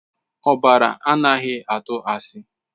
Ọbara anaghị atụ asị.